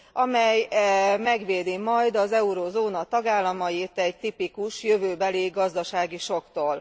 amely megvédi majd az eurózóna tagállamait egy tipikus jövőbeli gazdasági sokktól.